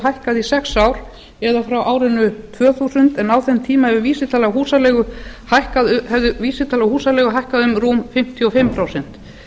hækkað í sex ár eða frá árinu tvö þúsund en á þeim tíma hefði vísitala húsaleigu hækkað um rúmlega fimmtíu og fimm prósent